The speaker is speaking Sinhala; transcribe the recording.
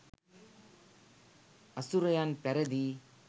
අසුරයන් පැරැදී